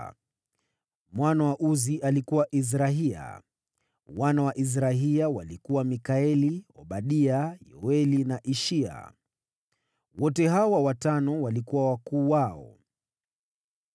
Mwana wa Uzi alikuwa: Izrahia. Wana wa Izrahia walikuwa: Mikaeli, Obadia, Yoeli na Ishia. Wote hawa watano walikuwa wakuu wao.